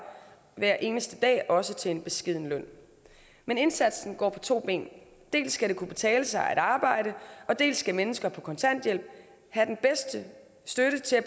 hver eneste dag også til en beskeden løn men indsatsen går på to ben dels skal det kunne betale sig at arbejde dels skal mennesker på kontanthjælp have den bedste støtte til at